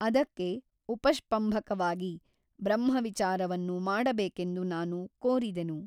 ಅದಕ್ಕೆ ಉಪಷ್ಪಂಭಕವಾಗಿ ಬ್ರಹ್ಮವಿಚಾರವನ್ನು ಮಾಡಬೇಕೆಂದು ನಾನು ಕೋರಿದೆನು.